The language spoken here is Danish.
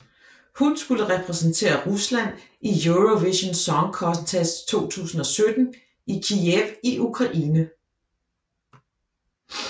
Hun skulle repræsentere Rusland i Eurovision Song Contest 2017 i Kyiv i Ukraine